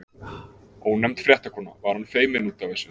Ónefnd fréttakona: Var hann feiminn út af þessu?